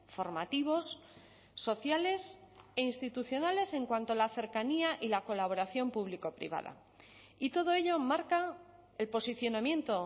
formativos sociales e institucionales en cuanto a la cercanía y la colaboración público privada y todo ello marca el posicionamiento